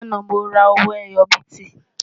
lànà, mó rà owó ẹyọ biti